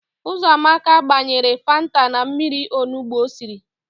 Ụzọamaka gbanyere fanta na mmiri onugbo o siri.